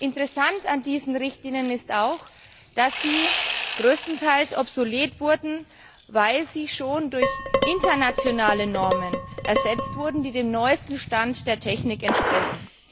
Interessant an diesen Richtlinien ist auch, dass sie größtenteils obsolet wurden, weil sie schon durch internationale Normen ersetzt wurden, die dem neuesten Stand der Technik entsprechen.